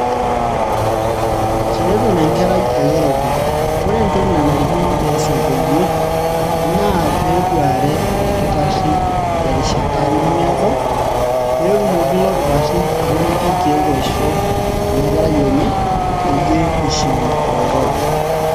tenetum enkerai olirobi ore entoki nanarikino pees entoiwuoi naa peeduare orkitarri terishata nemiado peetumoki ilo kitarri atoliki irkeek oisho ena kerai enye peyie ishiu oloirobi.